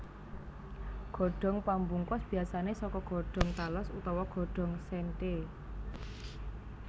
Godhong pambungkus biasané saka godhong tales utawa godhong séntheé